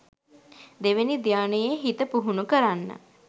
දෙවෙනි ධ්‍යානයේ හිත පුහුණු කරන්න